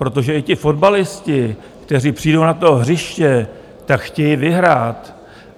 Protože i ti fotbalisté, kteří přijdou na to hřiště, tak chtějí vyhrát.